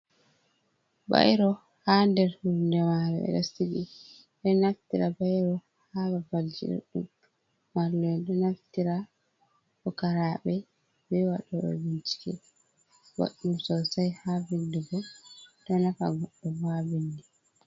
Bairo ha nder hunde mare ɓeɗo sigi, ɓeɗo naftira bairo ha babalji ɗuɗɗum mallu’en ɗo naftira, pukaraɓe ɓe waɗi ɓe bincike ɓoɗɗum sosai ha vindugo ɗo nafa goɗdo ha bindi.